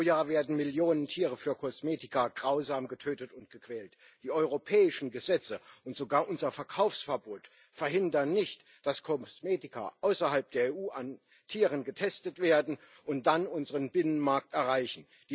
Pro Jahr werden Millionen Tiere für Kosmetika grausam getötet und gequält. Die europäischen Gesetze und sogar unser Verkaufsverbot verhindern nicht, dass Kosmetika außerhalb der EU an Tieren getestet werden und dann unseren Binnenmarkt erreichen.